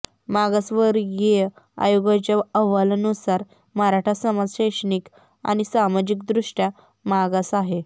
मागासवर्गीय आयोगाच्या अहवालानुसार मराठा समाज शैक्षणिक आणि सामाजिकदृष्ट्या मागास आहे